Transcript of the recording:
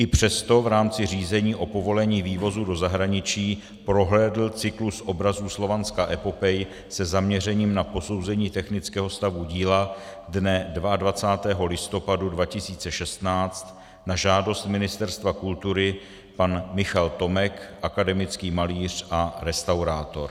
I přesto v rámci řízení o povolení vývozu do zahraničí prohlédl cyklus obrazů Slovanská epopej se zaměřením na posouzení technického stavu díla dne 22. listopadu 2016 na žádost Ministerstva kultury pan Michal Tomek, akademický malíř a restaurátor.